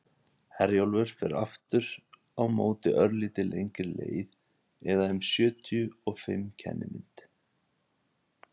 herjólfur fer aftur á móti örlítið lengri leið eða um sjötíu og fimm kennimynd